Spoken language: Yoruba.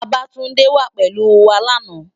Babatunde wá pélú wá làná